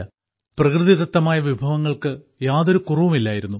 പ്രകൃതിദത്തമായ വിഭവങ്ങൾക്ക് യാതൊരു കുറവും ഇല്ലായിരുന്നു